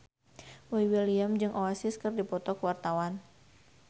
Boy William jeung Oasis keur dipoto ku wartawan